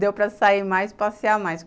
Deu para sair mais, passear mais.